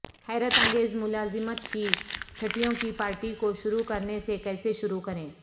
حیرت انگیز ملازمت کی چھٹیوں کی پارٹی کو شروع کرنے سے کیسے شروع کریں